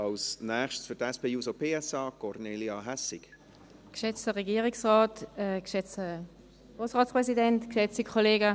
Als Nächstes für die SP-JUSO-PSA-Fraktion: Kornelia Hässig.